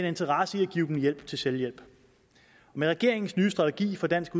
interesse i at give dem hjælp til selvhjælp med regeringens nye strategi for dansk